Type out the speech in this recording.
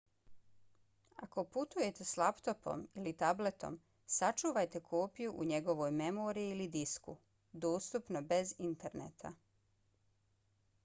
ako putujete s laptopom ili tabletom sačuvajte kopiju u njegovoj memoriji ili disku dostupno bez interneta